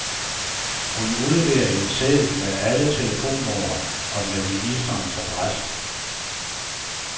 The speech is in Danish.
Hun udleverer en seddel med alle telefonnumrene og med ministeriets adresse.